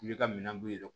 I ka minɛn b'u yɛrɛ kɔnɔ